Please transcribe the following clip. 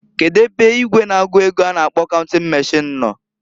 Kedu ebe igwe na-agụ ego a na-akpo counting machine no?